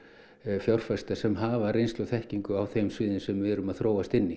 fjárfesta sem hafa reynslu og þekkingu á þeim sviðum sem við erum að þróast inní